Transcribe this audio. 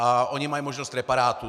A oni mají možnost reparátu.